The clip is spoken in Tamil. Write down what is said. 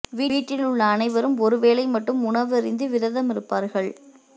வீட்டில் உள்ள அனைவரும் ஒரு வேளை மட்டும் உணவு அருந்தி விரதமிருப்பார்கள்